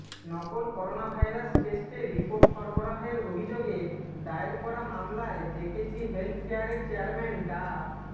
নকল করোনাভাইরাস টেস্টের রিপোর্ট সরবরাহের অভিযোগে দায়ের করা মামলায় জেকেজি হেলথ কেয়ারের চেয়ারম্যান ডা